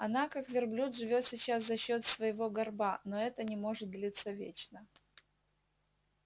она как верблюд живёт сейчас за счёт своего горба но это не может длиться вечно